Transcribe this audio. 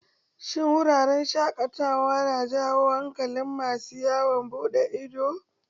Shin wuraren shaƙatawa na jawo hankalin masu yawon buɗe ido?